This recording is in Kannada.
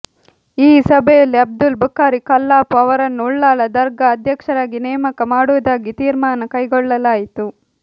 ಈ ಸಭೆಯಲ್ಲಿ ಅಬ್ದುಲ್ ಬುಖಾರಿ ಕಲ್ಲಾಪು ಅವರನ್ನು ಉಳ್ಳಾಲ ದರ್ಗಾ ಅಧ್ಯಕ್ಷರಾಗಿ ನೇಮಕ ಮಾಡುವುದಾಗಿ ತೀರ್ಮಾನ ಕೈಗೊಳ್ಳಲಾಯಿತು